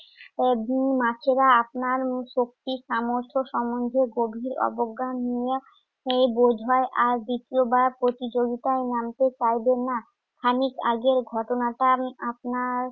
এব উম মাছেরা আপনার উম শক্তি সামর্থ্য সম্বন্ধে গভীর অবজ্ঞা নিয়ে উম বোধহয় আর দ্বিতীয়বার প্রতিযোগিতায় নামতে চাইবে না। আমি আগের ঘটনাটা আমি আপনার